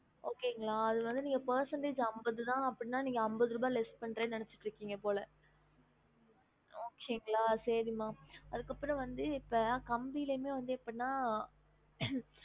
Okay ங்களா அது வந்து நீங்க percentage அம்பது தான் அப்டினா நீங்க அம்பது ருபாய் less பண்றேன்னு நினச்சிட்டு இருகிங்க போல okay ங்களா சரி மா அதுக்கு அப்புறம் வந்து இப்ப கம்பிலயுமே வந்து எப்படினா